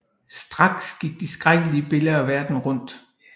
Straks gik de skrækkelige billeder verden rundt